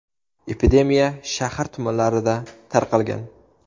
Epidemiya shahar tumanlarida tarqalgan.